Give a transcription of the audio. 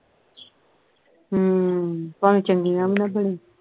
ਹਮ ਭਾਵੇਂ ਚੰਗੀਆਂ ਵੀ ਨਾ ਬਣਨ